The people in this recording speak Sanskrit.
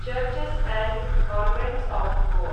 churches and convents of Goa